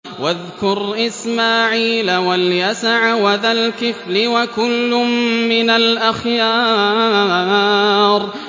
وَاذْكُرْ إِسْمَاعِيلَ وَالْيَسَعَ وَذَا الْكِفْلِ ۖ وَكُلٌّ مِّنَ الْأَخْيَارِ